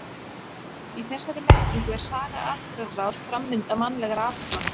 Í þessari merkingu er saga atburðarás, framvinda mannlegra athafna.